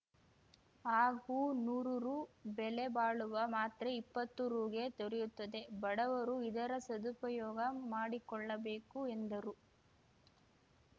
ಹಾಗೂ ನೂರು ರು ಬೆಲೆ ಬಾಳುವ ಮಾತ್ರೆ ಇಪ್ಪತ್ತು ರುಗೆ ದೊರೆಯುತ್ತದೆ ಬಡವರು ಇದರ ಸದುಪಯೋಗ ಮಾಡಿಕೊಳ್ಳಬೇಕು ಎಂದರು